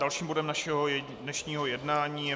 Dalším bodem našeho dnešního jednání je